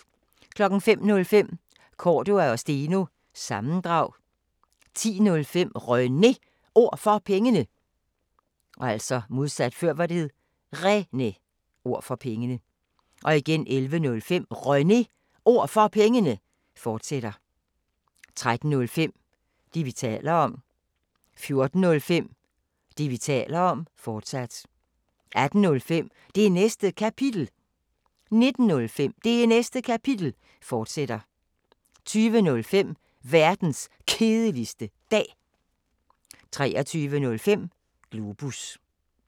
05:05: Cordua & Steno – sammendrag 10:05: René Ord For Pengene 11:05: René Ord For Pengene, fortsat 13:05: Det, vi taler om 14:05: Det, vi taler om, fortsat 18:05: Det Næste Kapitel 19:05: Det Næste Kapitel, fortsat 20:05: Verdens Kedeligste Dag 23:05: Globus